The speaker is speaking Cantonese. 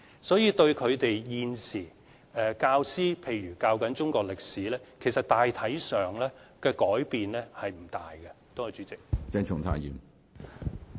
所以，對教師現時教授中國歷史科，大體上的改變其實並不大。